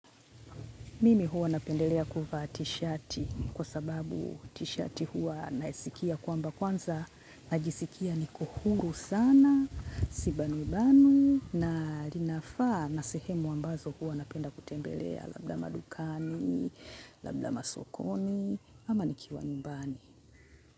Mimi huwa napendelea kuvaa t-shati kwa sababu t-shati huwa nasikia kwamba kwanza najisikia niko huru sana, sibanubanu na linafaa na sehemu ambazo huwa napenda kutembelea labda madukani, labda masokoni, ama nikiwa nyumbani.